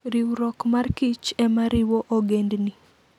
Riwruok mar kich e ma riwo ogendini